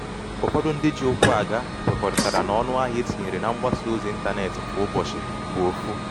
Ụfọdụ ndị ji ụkwụ aga kwekorịtara na ọnụahịa etịnyere na mgbasa ọzị ntanetị kwa ụbọchị bụ ọfụ.